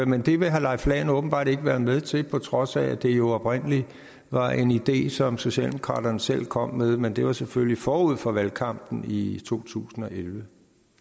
men det vil herre leif lahn jensen åbenbart ikke være med til på trods af at det jo oprindelig var en idé som socialdemokraterne selv kom med men det var selvfølgelig forud for valgkampen i totusinde